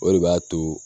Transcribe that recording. O de b'a to